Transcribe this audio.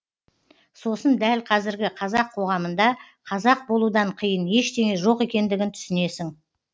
сосын дәл қазіргі қазақ қоғамында қазақ болудан қиын ештеңе жоқ екендігін түсінесің